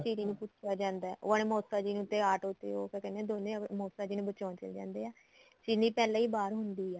ਚੀਰੀ ਨੂੰ ਕੁੱਝ ਹੋ ਜਾਂਦਾ ਉਹ ਮੋਸਾ ਜੀ ਨੂੰ ਤੇ ਆਟੋ ਤੇ ਉਹ ਤਾਂ ਕਹਿੰਦੇ ਏ ਮੋਸਾ ਜੀ ਨੂੰ ਬਚਾਣ ਚਲੇ ਜਾਂਦੇ ਏ ਚੀਲੀ ਪਹਿਲਾਂ ਈ ਬਾਹਰ ਹੁੰਦੀ ਏ